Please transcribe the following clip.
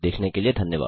देखने के लिए धन्यवाद